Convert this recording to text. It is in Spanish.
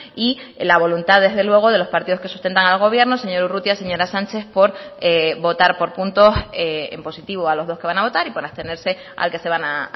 y la voluntad desde luego de los partidos que sustentan al gobierno señor urrutia señora sánchez por votar por puntos en positivo a los dos que van a votar y por abstenerse al que se van a